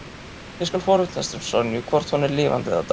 Ég skal forvitnast um Sonju, hvort hún er lifandi eða dáin.